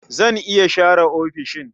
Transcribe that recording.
Zan iya share ofishin.